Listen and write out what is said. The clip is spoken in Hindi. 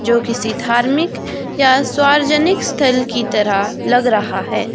जो किसी धार्मिक या सार्वजनिक स्थल की तरह लग रहा है।